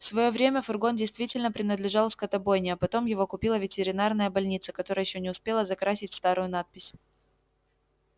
в своё время фургон действительно принадлежал скотобойне а потом его купила ветеринарная больница которая ещё не успела закрасить старую надпись